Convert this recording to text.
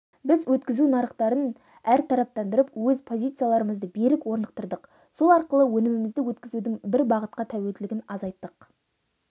біз өткізу нарықтарын әртараптандырып өз позицияларымызды берік орнықтырдық сол арқылы өнімімізді өткізудің бір бағытқа тәуелділігін азайттық